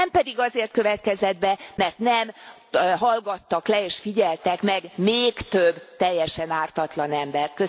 Nem azért következett be, mert nem hallgattak le és figyeltek meg még több teljesen ártatlan embert.